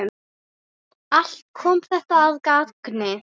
Allt kom þetta að gagni.